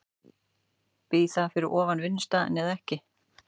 Býr það fyrir ofan vinnustaðinn eða ekki?